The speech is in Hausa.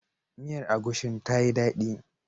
Miyar agushin ta yi dadi.